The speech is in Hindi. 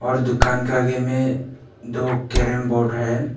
और दुकान के आगे में दो कैरम बोर्ड है।